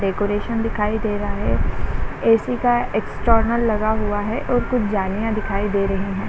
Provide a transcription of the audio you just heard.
Decoration दिखाई दे रहा है ए_सी का एक्सटर्नल लगा हुआ है और कुछ जानिया दिखाई दे रही है।